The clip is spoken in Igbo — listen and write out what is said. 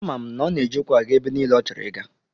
Ama m na ọ na-eji ụkwụ aga ebe niile ọchọrọ ịga.